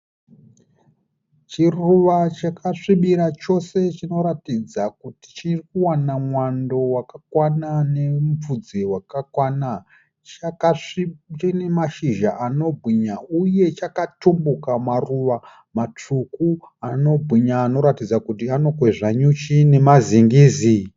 Chiruva chakasvibira chose chinoratidza kuti chiri kuwana mwando wakakwana nemupfudze wakakwana . Chakasvi chine mashizha anobwinya , uye chakatumbuka maruva matsvuku anobwinya anoratidza kuti anokwezva nyuchi nemazingizi.